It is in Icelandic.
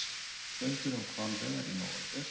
Fundur um hvalveiðar í nóvember